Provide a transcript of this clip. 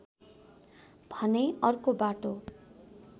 भने अर्को बाटो